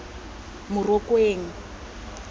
morokweng